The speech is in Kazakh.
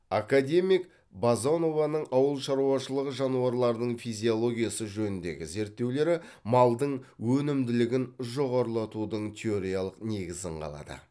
академик базонованың ауыл шаруашылығы жануарларының физиологиясы жөніндегі зерттеулері малдың өнімділігін жоғарылатудың теориялық негізін қалады